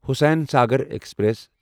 Hussain Sagar express